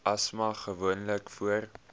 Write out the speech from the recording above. asma gewoonlik voor